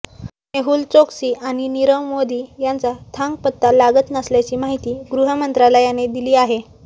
मेहूल चोकसी आणि नीरव मोदी यांचा थांगपत्ता लागत नसल्याची माहिती गृहमंत्रालयाने दिली आहे